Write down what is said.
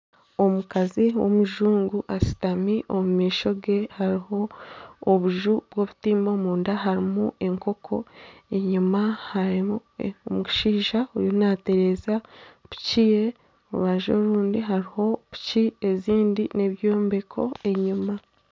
Omukazi w'omujungu ashutami kandi omu maisho ge hariho obuju bw'obutimba omunda hariho enkoko enyuma harimu omushaija ariyo naatereza piki ye orubaju orundi hariho piki ezindi nana ebyombeko enyuma .